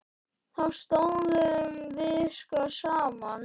Þá stóðum við sko saman.